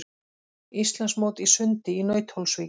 Íslandsmót í sundi í Nauthólsvík